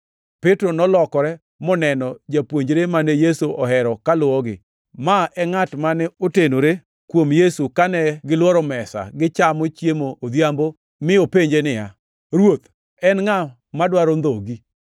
Petro nolokore moneno japuonjre mane Yesu ohero kaluwogi. (Ma e ngʼat mane otenore kuom Yesu kane gilworo mesa gichamo chiemb odhiambo, mi openje niya, “Ruoth, en ngʼa madwaro ndhogi?”)